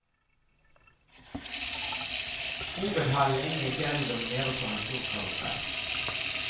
Hovedhallen inne i fjellet domineres av en stor karusell.